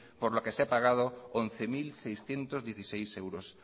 por la que se ha pagado once mil seiscientos dieciséis euros